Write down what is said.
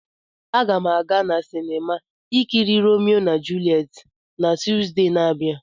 Agam aga na sinima ikiri Romeo na Juliet na Tuzdee na-abia.